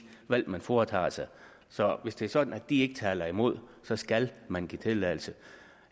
valg man foretager så så hvis det er sådan at de ikke taler imod så skal man give tilladelse